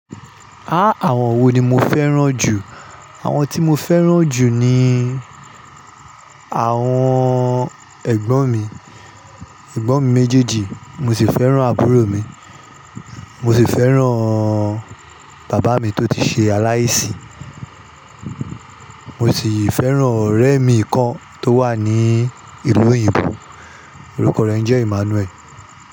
Há! Àwọn wo ni mo fẹ́ràn jù? Àwọn tí mo fẹ́ràn jù ni àwọn ẹ̀gbọ́n mi, ẹ̀gbọ́n mi méjèèjì, mo sì fẹ́ràn àbúrò mi, mo sì fẹ́ràn bàbá mi tó ti ṣe aláìsí, mo sì fẹ́ràn ọ̀rẹ́ mi kan tó wà ní ìlú òyìnbó, orúkọ rẹ jẹ́ Emmanuel.